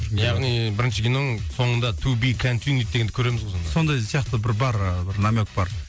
яғни бірінші киноң соңында дегенді көреміз ғой сонда сондай сияқты бір бар бір намек бар